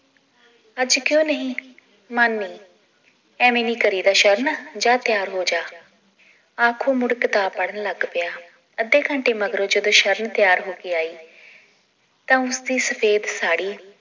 ਅੱਜ ਕਯੋਂ ਨਹੀਂ ਮੰਨ ਨੀ ਐਵੇਂ ਨੀ ਕਰੀਦਾ ਸ਼ਰਨ ਜਾ ਤਿਆਰ ਹੋਜਾ ਆਖੋ ਮੁੜ ਕਿਤਾਬ ਪੜ੍ਹਨ ਲੱਗ ਪਿਆ ਅੱਧੇ ਘੰਟੇ ਮਗਰੋਂ ਜਦੋਂ ਸ਼ਰਨ ਤਿਆਰ ਹੋ ਕੇ ਆਈ ਤਾਂ ਉਸਦੀ ਸਫੇਦ ਸਾੜੀ